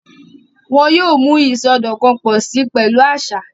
Wọn yoo mu isọdọkan pọ si pẹlu aṣa.